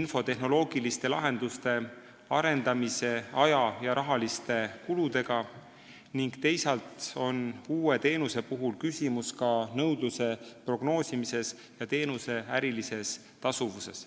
infotehnoloogiliste lahenduste arendamisele kulunud aja ja rahaliste kuludega, teisalt on uue teenuse puhul küsimus ka nõudluse prognoosimises ja ärilises tasuvuses.